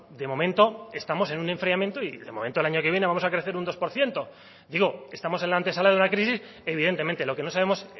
de momento estamos en un enfriamiento y de momento el año que viene vamos a crecer un dos por ciento digo estamos en la antesala de una crisis evidentemente lo que no sabemos